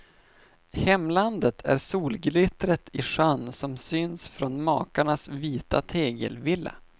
Hemlandet är solglittret i sjön som syns från makarnas vita tegelvilla.